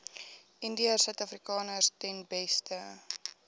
indiërsuidafrikaners ten beste